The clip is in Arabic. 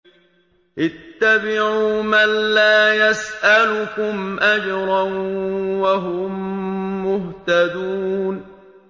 اتَّبِعُوا مَن لَّا يَسْأَلُكُمْ أَجْرًا وَهُم مُّهْتَدُونَ